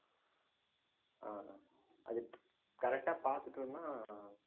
ஆஹ் அது correct ஆ பார்த்துட்டோம்ன்னா